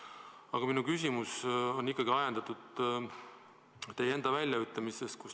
Aga minu küsimus on ikkagi ajendatud teie enda väljaütlemistest.